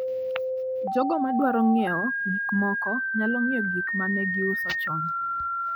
Jogo madwaro ng'iewo gik moko nyalo ng'iyo gik ma ne giuso chon.